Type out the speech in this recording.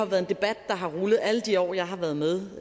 været en debat der har rullet alle de år jeg har været med